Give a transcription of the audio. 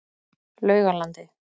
Laugalandi